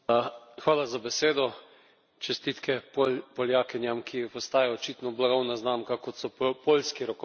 Čestitke Poljakinjam, ki postajajo očitno blagovna znamka, kot so poljski rokometaši, podobno kot slovenski.